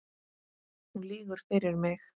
Hún lýgur fyrir mig.